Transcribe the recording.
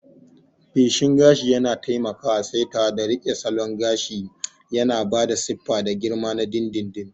Feshin gashi yana taimakawa saitawa da riƙe salon gyara gashi, yana ba da siffa da girma na dindindin.